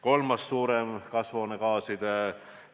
Kolmas suurem kasvuhoonegaaside